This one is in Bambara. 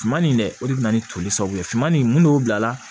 Finman nin dɛ o de bɛ na ni toli sababu ye finman in mun bila la